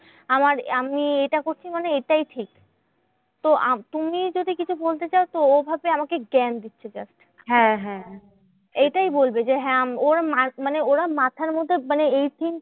আমার আমি এটা করছি মানে এটাই ঠিক। তো আ তুমি যদি কিছু বলতে যাও তো ও ভাববে আমাকে জ্ঞান দিচ্ছে just. এইটাই বলবে যে, হ্যাঁ আম ওর মানে ওরা মাথার মধ্যে মানে এই thinking